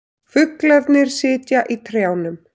Fuglarnir sitja í trjánum.